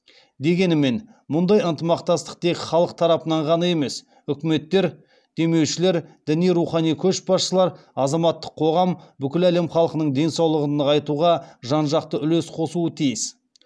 дегенімен мұндай ынтымақтастық тек халық тарапынан ғана емес үкіметтер демеушілер діни рухани көшбасшылар азаматтық қоғам бүкіл әлем халқының денсаулығын нығайтуға жан жақты үлес қосуы тиіс